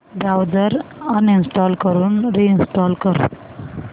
browser uninstall करून reinstall कर